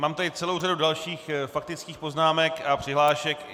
Mám tady celou řadu dalších faktických poznámek a přihlášek.